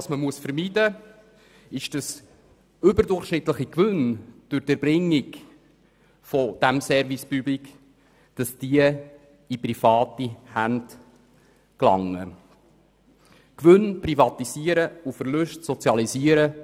Man muss vermeiden, dass überdurchschnittliche Gewinne durch die Erbringung des Service Public in private Hände gelangen, denn es ist keine gute Politik, Gewinne zu privatisieren und Verluste zu sozialisieren.